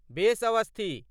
बेस, Aswathy.